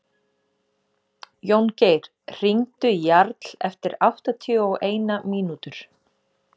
Jóngeir, hringdu í Jarl eftir áttatíu og eina mínútur.